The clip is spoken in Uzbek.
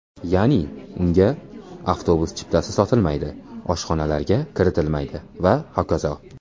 Ya’ni unga avtobus chiptasi sotilmaydi, oshxonalarga kiritilmaydi va hokazo.